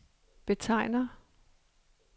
betegner